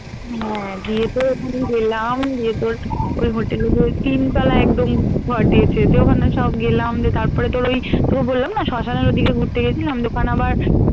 উম হ্যাঁ গিয়ে তো ওখানে গেলাম গিয়ে তোর ওই hotel এ তোর তিন তলায় একদম ঘর দিয়েছে তো ওখানে সব গেলাম দিয়ে তারপরে তোর ওই তোকে বললাম না সিম্পসনের ওদিকে ঘুরতে গেছে দিয়ে ওখানে আবার